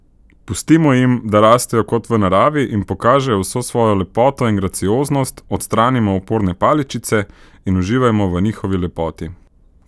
Pustimo jim, da rastejo kot v naravi in pokažejo vso svojo lepoto in gracioznost, odstranimo oporne paličice in uživajmo v njihovi lepoti.